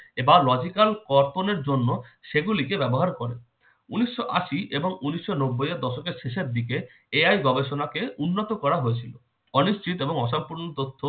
এবার logical কর্পোনের জন্য সেগুলিকে ব্যবহার করে। উনিশশো আশি এবং উনিশশো নব্বইয়ের দশকের শেষের দিকে AI গবেষণাকে উন্নত করা হয়েছিল। অনিশ্চিত এবং অসম্পূর্ণ তথ্য